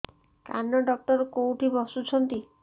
କାନ ଡକ୍ଟର କୋଉଠି ବସୁଛନ୍ତି